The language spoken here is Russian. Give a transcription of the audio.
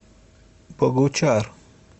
богучар